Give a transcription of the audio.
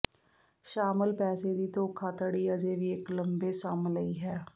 ਸ਼ਾਮਲ ਪੈਸੇ ਦੀ ਧੋਖਾਧੜੀ ਅਜੇ ਵੀ ਇੱਕ ਲੰਬੇ ਸਮ ਲਈ ਹੈ